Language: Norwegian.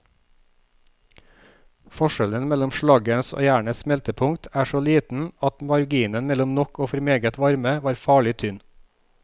Forskjellen mellom slaggens og jernets smeltepunkt er så liten at marginen mellom nok og for meget varme var farlig tynn.